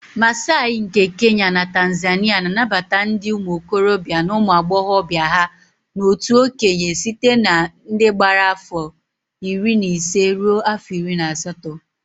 Massai nke Kenya na Tanzania na-anabata ndị ụmụ okorobịa na ụmụ agbọghọbịa ha n'otu okenye site na ndị gbara afọ iri na ise rue afọ iri na asatọ